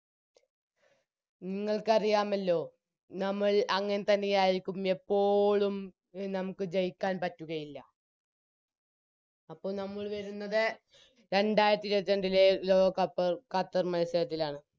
നിങ്ങൾക്കറിയാമല്ലോ നമ്മൾ അങ്ങൻത്തന്നെയാരിക്കും എപ്പോളും എ നമുക്ക് ജയിക്കാൻ പറ്റുകയില്ല അപ്പോൾ നമ്മൾ വരുന്നത് രണ്ടാരത്തിരുപത്രണ്ടിലെ ലോകകപ്പ് ഖത്തർ മത്സരത്തിലാണ്